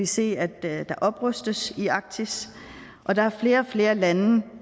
se at der oprustes i arktis og der er flere og flere lande